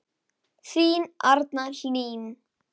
Þín Arna Hlín.